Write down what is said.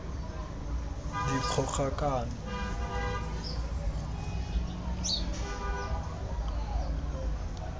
dikgogakano